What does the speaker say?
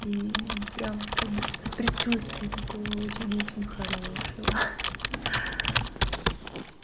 и прямо в пред в предчувствии такого очень очень хорошего